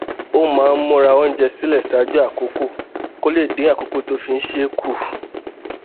ó máa ń múra oúnjẹ sílè ṣáájú àkókò kó lè dín àkókò tó fi ń ṣe é kù